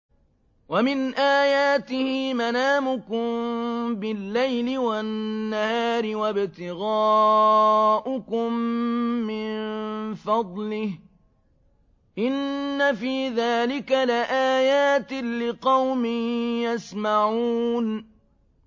وَمِنْ آيَاتِهِ مَنَامُكُم بِاللَّيْلِ وَالنَّهَارِ وَابْتِغَاؤُكُم مِّن فَضْلِهِ ۚ إِنَّ فِي ذَٰلِكَ لَآيَاتٍ لِّقَوْمٍ يَسْمَعُونَ